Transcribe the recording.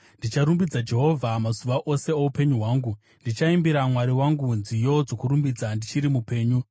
Ndicharumbidza Jehovha mazuva ose oupenyu hwangu; ndichaimbira Mwari wangu nziyo dzokurumbidza ndichiri mupenyu.